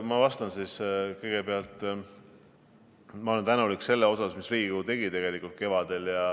Ma vastan siis kõigepealt, et ma olen tänulik selle eest, mida Riigikogu kevadel tegi!